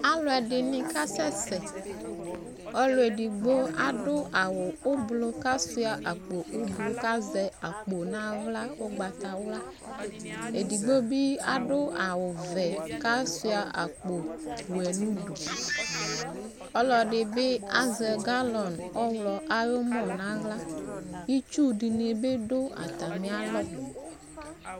Alu ɛdini kasɛsɛƆlu edigbo aɖʋ awu ublu kasuia akpo ublu kazɛ akpo naɣla ugbatawlaEdigbo bi adʋ awu vɛ kasuia akpo wɛ nuduƆlɔdibi azɛ galɔn ɔɣlɔ ayiʋ ɔmɔ naɣlaItsu dini bi dʋ atamialɔ